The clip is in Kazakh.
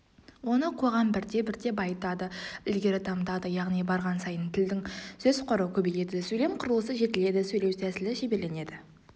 оны қоғам бірте-бірте байытады ілгері дамытады яғни барған сайын тілдің сөз қоры көбейеді сөйлем құрылысы жетіледі сөйлеу тәсілі шеберленеді